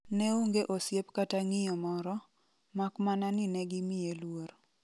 Neonge osiep kata ng'iyo moro ,makmana ni negimiye luor.